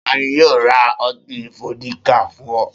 Ta ni yóò ra ọtí fódíkà fún ọ?